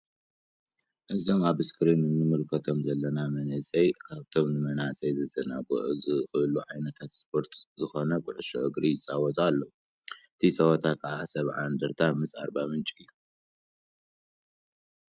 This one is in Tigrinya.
እዞም ኣብ እስክሪን እንምልከቶም ዘለና መንእሰይ ካብቶም ን መናሰይ ከዘናግዑ ዝክእሉ ዓይነታት ስፖርት ዝኮነ ኩዕሶ እግሪ ይጻወቱ ኣለዉ። እቲ ጸወታ ክዓ 70 እንደርታ ምስ ኣርባ ምንጭ እዩ።